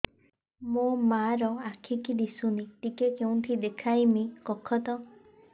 ମୋ ମା ର ଆଖି କି ଦିସୁନି ଟିକେ କେଉଁଠି ଦେଖେଇମି କଖତ